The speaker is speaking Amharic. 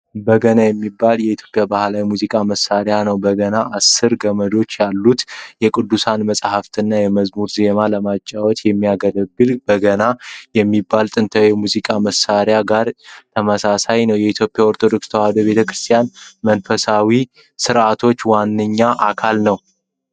በገና የሚባለውን የኢትዮጵያን ባህላዊ የሙዚቃ መሣሪያ ነው። በገና አሥር ገመዶች ያሉትና የቅዱሳት መጻሕፍትንና የመዝሙሮችን ዜማ ለመጫወት የሚያገለግል በገና ከሚባለው ጥንታዊ የሙዚቃ መሣሪያ ጋር ተመሳሳይ ነው። የኢትዮጵያ ኦርቶዶክስ ተዋሕዶ ቤተ ክርስቲያን መንፈሳዊ ሥርዓቶች ዋነኛ አካል ነው።